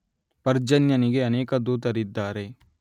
ಪರ್ಜನ್ಯನಿಗೆ ಅನೇಕ ದೂತರಿದ್ದಾರೆ